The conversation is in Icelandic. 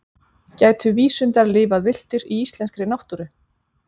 gætu vísundar lifað villtir í íslenskri náttúru